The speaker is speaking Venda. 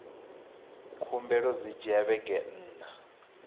khumbelo dzi dzhia vhege nṋa